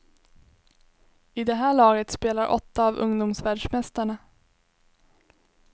I det här laget spelar åtta av ungdomsvärldsmästarna.